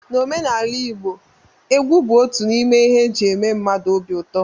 N'omenala igbo, egwu bụ otu n'ime ihe eji eme mmadụ obi ụtọ